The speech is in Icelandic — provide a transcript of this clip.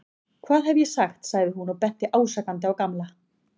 Hvað hef ég ekki sagt sagði hún og benti ásakandi á Gamla.